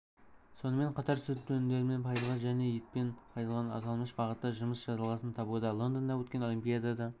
сонымен қатар сүт өнімдерімен пайызға және етпен пайызған аталмыш бағытта жұмыс жалғасын табуда лондонда өткен олимпиадада